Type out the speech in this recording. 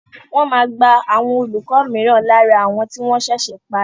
Wọ́n máa gba àwọn olùkọ́ mìíràn lára àwọn tí wọ́n ṣẹ̀ṣẹ̀ parí.